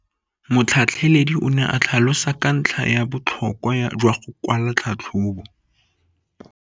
Motlhatlheledi o ne a tlhalosa ka ntlha ya botlhokwa jwa go kwala tlhatlhôbô.